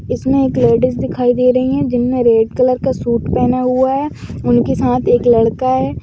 इसमे एक लेडीज दिखाई दे रही है जिन्होने रेड कलर का सूट पेहना हुआ है उनके साथ एक लड़का है।